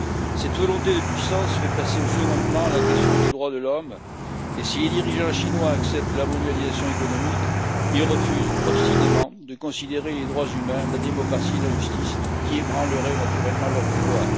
Cette volonté de puissance fait passer au second plan la question des droits de l'homme et, si les dirigeants chinois acceptent la mondialisation économique, ils refusent obstinément de prendre en considération les droits humains, la démocratie et la justice, qui ébranleraient naturellement leur pouvoir.